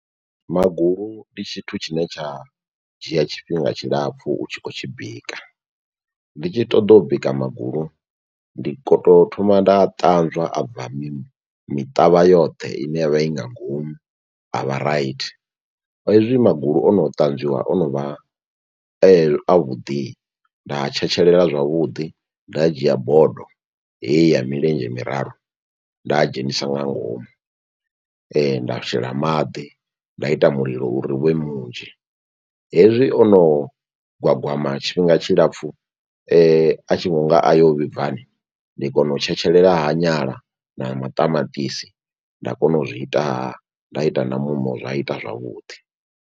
Magulu ndi tshithu tshine tsha dzhia tshifhinga tshilapfu u tshi khou tshi bika. Ndi tshi ṱoḓa u bika magulu ndi ko to thoma nda a ṱanzwa abva mi miṱavha yoṱhe ine yavha i nga ngomu a vha raithi. Hezwi magulu ono ṱanzwiwa ono vha avhuḓi nda tshetshelela zwavhuḓi nda dzhia bodo heyi ya milenzhe miraru nda dzhenisa nga ngomu. Nda shela maḓi nda ita mulilo uri uvhe munzhi hezwi o no gwagwama tshifhinga tshilapfu a tshi vhonga ayo vhibvani ndi kona u tshetshelela ha nyala na maṱamaṱisi nda kona u zwi itaha nda ita na muṋo zwa ita zwavhuḓi.